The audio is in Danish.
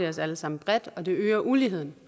os alle sammen og det øger uligheden